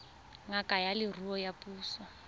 ngaka ya leruo ya puso